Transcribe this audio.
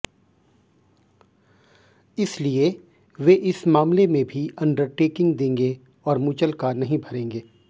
इसलिए वे इस मामले में भी अंडरटेकिंग देंगे और मुचलका नहीं भरेंगे